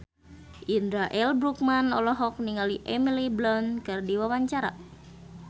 Indra L. Bruggman olohok ningali Emily Blunt keur diwawancara